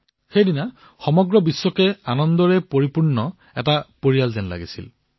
সেই দিনা বিশ্বক এক সুখী পৰিয়ালৰ দৰে দেখাইছিল